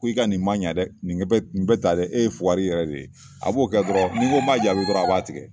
Ko i ka nin ma ɲa dɛ , nin bɛ tan dɛ , e ye fugari yɛrɛ de ye . A b'o kɛ dɔrɔn ni n ko n b'a jaabi dɔrɔn a b'a tigɛ.